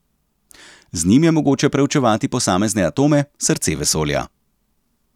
Z njim je mogoče preučevati posamezne atome, srce vesolja.